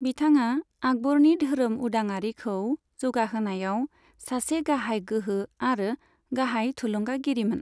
बिथाङा आकबरनि धोरोम उदाङारिखौ जौगाहोनायाव सासे गाहाय गोहो और गाहाय थुलुंगागिरिमोन।